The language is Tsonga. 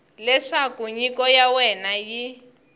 leswaku nyiko ya wena yi